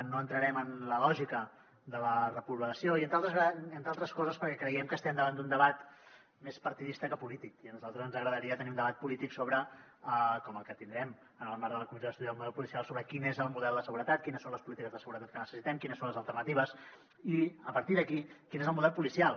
no entrarem en la lògica de la reprovació entre altres coses perquè creiem que estem davant d’un debat més partidista que polític i a nosaltres ens agradaria tenir un debat polític com el que tindrem en el marc de la comissió d’estudi sobre el model policial sobre quin és el model de seguretat quines són les polítiques de seguretat que necessitem quines són les alternatives i a partir d’aquí quin és el model policial